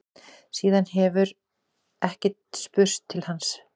Síðan hefur ekki spurst til hans